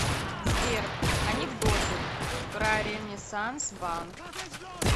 сбер анекдоты про ренессанс банк